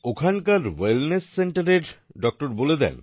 ওখানের ওয়েলনেস Centreএর ডক্টর বলে দেন